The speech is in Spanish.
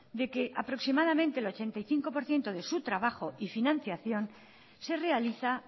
de que aproximadamente el ochenta y cinco por ciento de su trabajo y financiación se realiza